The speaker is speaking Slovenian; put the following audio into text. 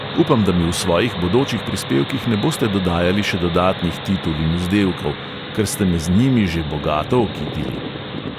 Upam, da mi v svojih bodočih prispevkih ne boste dodajali še dodatnih titul in vzdevkov, ker ste me z njimi že bogato okitili.